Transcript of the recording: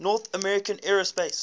north american aerospace